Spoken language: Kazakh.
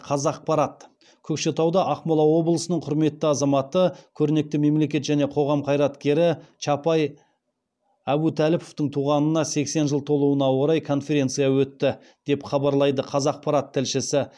қазақпарат көкшетауда ақмола облысының құрметті азаматы көрнекті мемлекет және қоғам қайраткері чапай әбутәліповтың туғанына сексен жыл толуына орай конференция өтті деп хабарлайды қазақпарат тілшісі